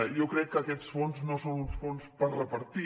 jo crec que aquests fons no són uns fons per repartir